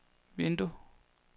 vindue